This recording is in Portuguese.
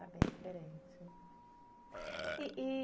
É bem diferente. E e